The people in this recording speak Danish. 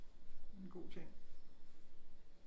Det er en god ting